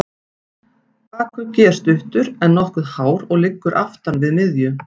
Bakuggi er stuttur, en nokkuð hár og liggur aftan við miðju.